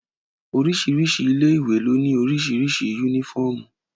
Oríṣiríṣi ilé ìwé ló ní oríṣiríṣi yúnífọ̀mù